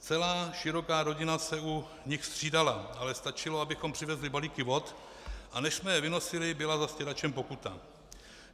Celá široká rodina se u nich střídala, ale stačilo, abychom přivezli balíky vod, a než jsme je vynosili, byla za stěračem pokuta.